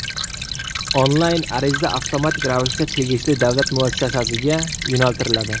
Onlayn ariza avtomatik ravishda tegishli davlat muassasasiga yo‘naltiriladi.